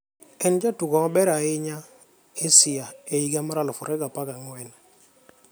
En jatugo maber ahinya Asia e higa mar 2014.